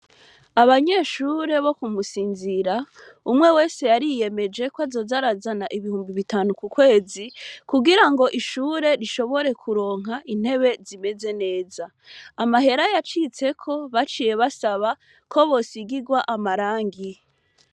Abanyeshure bo ku Musinzira umwe wese yariyemeje ko azoza arazana amafaranga ibihumbi bitanu ku kwezi kugirango ishure rishobore kuronka intebe zimeze neza. Amahera yacitseko baciye basaba ko bosigirwa amarangi.